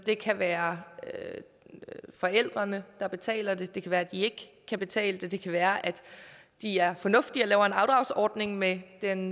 det kan være forældrene der betaler den det kan være de ikke kan betale den det kan være at de er fornuftige og laver en afdragsordning med den